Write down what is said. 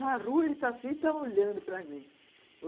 Na rua, ele estava assim, estava olhando para mim.